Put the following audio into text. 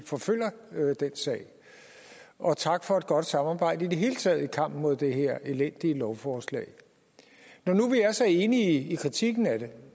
forfølger den sag og tak for et godt samarbejde i det hele taget i kampen mod det her elendige lovforslag når nu vi er så enige i kritikken af det